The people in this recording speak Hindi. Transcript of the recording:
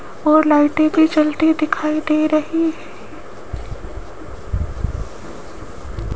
और लाइटें भी जलती दिखाई दे रही --